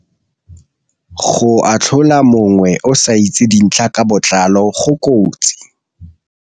Go atlhola mongwe o sa itse dintlha ka botlalo go kotsi.